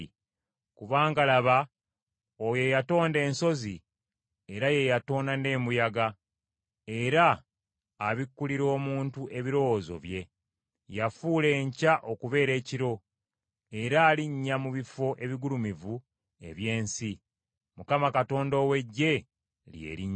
Kubanga laba, oyo eyatonda ensozi era ye yatonda n’embuyaga era abikkulira omuntu ebirowoozo bye. Yafuula enkya okubeera ekiro, era alinnya mu bifo ebigulumivu eby’ensi. Mukama Katonda ow’Eggye lye linnya lye.